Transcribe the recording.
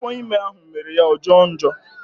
Afọ ime ahụ mere ya ọ jọo njọ